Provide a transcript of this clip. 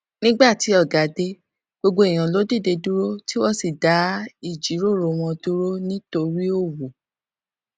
nígbà tí ọga dé gbogbo èèyàn ló dìde dúró tí wón sì dá ìjíròrò wọn dúró nítorí òwò